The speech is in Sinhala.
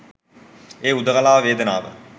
ඒ හුදකලාවෙ වේදනාව